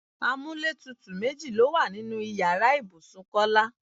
Amúlétutù méjì ló wà nínú ìyára ibùsùn Kọ́lá.